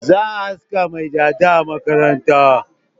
Za a aske mai dada a makaranta.